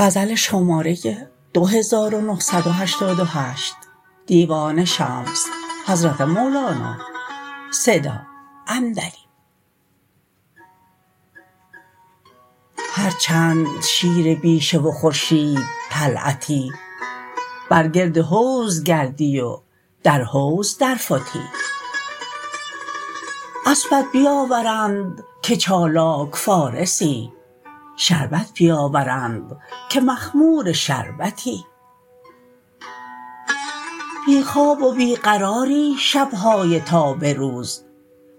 هر چند شیر بیشه و خورشیدطلعتی بر گرد حوض گردی و در حوض درفتی اسپت بیاورند که چالاک فارسی شربت بیاورند که مخمور شربتی بی خواب و بی قراری شب های تا به روز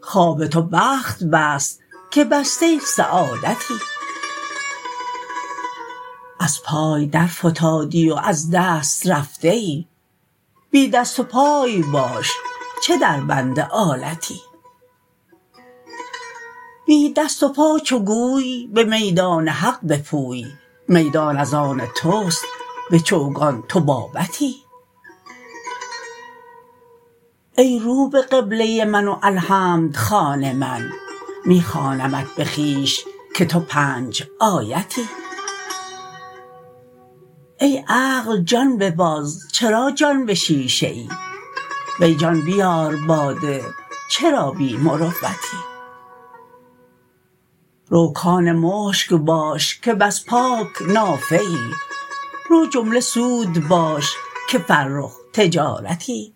خواب تو بخت بست که بسته سعادتی از پای درفتادی و از دست رفته ای بی دست و پای باش چه دربند آلتی بی دست و پا چو گوی به میدان حق بپوی میدان از آن توست به چوگان تو بابتی ای رو به قبله من و الحمدخوان من می خوانمت به خویش که تو پنج آیتی ای عقل جان بباز چرا جان به شیشه ای وی جان بیار باده چرا بی مروتی رو کان مشک باش که بس پاک نافه ای رو جمله سود باش که فرخ تجارتی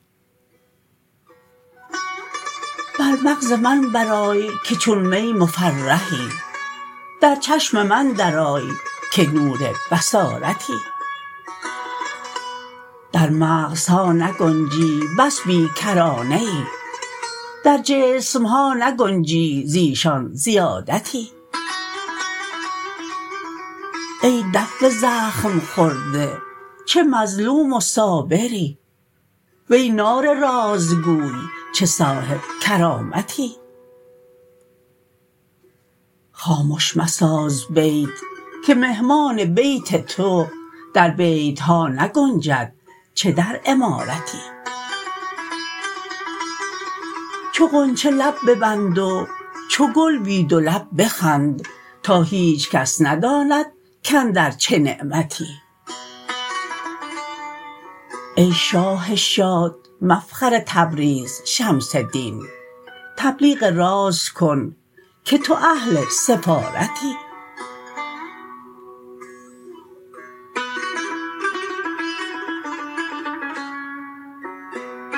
بر مغز من برآی که چون می مفرحی در چشم من درآی که نور بصارتی در مغزها نگنجی بس بی کرانه ای در جسم ها نگنجی ز ایشان زیادتی ای دف زخم خواره چه مظلوم و صابری وی نای رازگوی چه صاحب کرامتی خامش مساز بیت که مهمان بیت تو در بیت ها نگنجد چه در عمارتی چون غنچه لب ببند و چو گل بی دو لب بخند تا هیچ کس نداند کاندر چه نعمتی ای شاه شاد مفخر تبریز شمس دین تبلیغ راز کن که تو اهل سفارتی